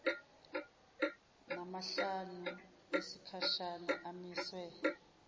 namahlanu esikhashana amiswe